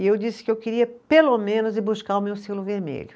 E eu disse que eu queria pelo menos ir buscar o meu selo vermelho.